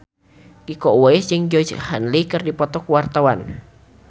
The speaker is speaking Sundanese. Iko Uwais jeung Georgie Henley keur dipoto ku wartawan